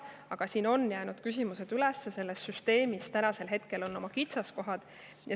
Samas on siin küsimusi üles jäänud, selles süsteemis on oma kitsaskohad.